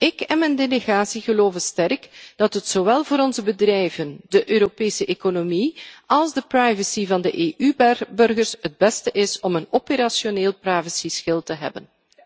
Ik en mijn delegatie geloven sterk dat het zowel voor onze bedrijven, de Europese economie als de privacy van de EU burgers het beste is om een operationeel privacyschild te hebben.